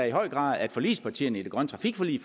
i høj grad at forligspartierne i det grønne trafikforlig